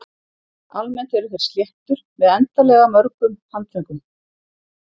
Almennt eru þeir sléttur með endanlega mörgum handföngum.